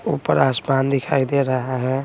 ऊपर आसमान दिखाई दे रहा है।